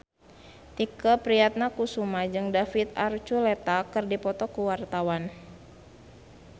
Tike Priatnakusuma jeung David Archuletta keur dipoto ku wartawan